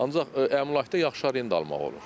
Ancaq əmlakda yaxşı arenda almaq olur.